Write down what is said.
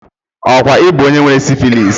Okwa Ị bu onye nwere syphilli?